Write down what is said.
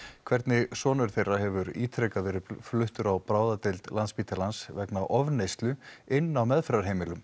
hvernig sonur þeirra hefur ítrekað verið fluttur á bráðadeild Landspítalans vegna ofneyslu inni á meðferðarheimilum